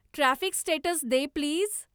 traffic status दे please